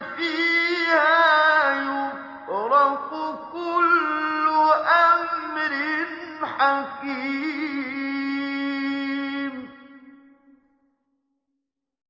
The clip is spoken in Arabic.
فِيهَا يُفْرَقُ كُلُّ أَمْرٍ حَكِيمٍ